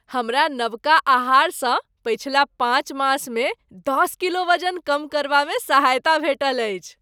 हमरा नबका आहारसँ पछिला पाँच मासमे दश किलो वजन कम करबामे सहायता भेटल अछि।